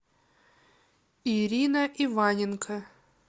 ирина иваненко